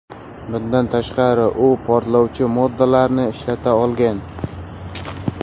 Bundan tashqari, u portlovchi moddalarni ishlata olgan.